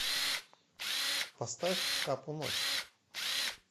поставь капу ночь